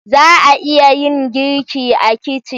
Za a iya yin girki a kicin?